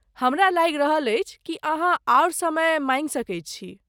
हमरा लागि रहल अछि कि अहाँ आओर समय माँगि सकैत छी।